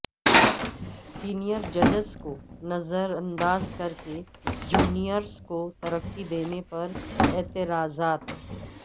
senior ججس کو نظرانداز کرکے جونیرس کو ترقی دینے پر اعتراضات